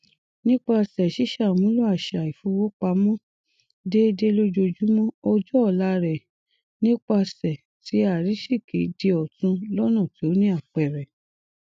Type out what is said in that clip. nípasẹ ṣíṣàmúlò àṣà ìfowópamọ déédé lójoojúmọ ọjọ ọla rẹ nípasẹ ti àrísìkí di ọtun lọna tí ó ní àpẹẹrẹ